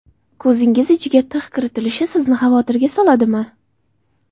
Ko‘zingiz ichiga tig‘ kiritilishi sizni xavotirga soladimi?